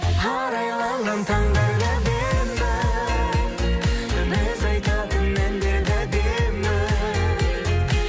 арайланған таңдар да әдемі біз айтатын әндер де әдемі